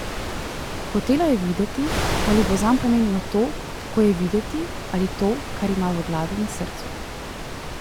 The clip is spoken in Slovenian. Hotela je videti, ali bo zanj pomembno to, kako je videti, ali to, kar ima v glavi in srcu.